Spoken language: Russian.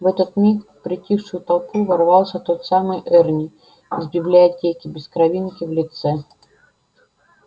в этот миг в притихшую толпу ворвался тот самый эрни из библиотеки без кровинки в лице